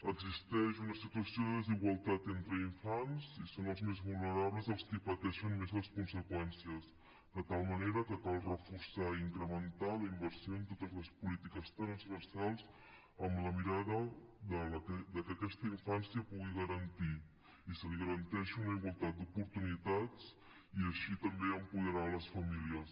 existeix una situació de desigualtat entre infants i són els més vulnerables els qui pateixen més les conseqüències de tal manera que cal reforçar i incrementar la inversió en totes les polítiques transversals amb la mirada de que aquesta infància pugui garantir i se li garanteixi una igualtat d’oportunitats i així també apoderar les famílies